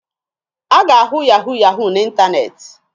A ga-ahụ yahu yahu n'ịntaneetị.